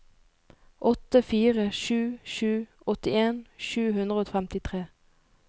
åtte fire sju sju åttien sju hundre og femtitre